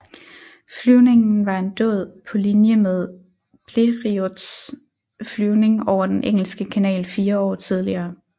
Flyvningen var en dåd på linje med Blériots flyvning over Den engelske kanal fire år tidligere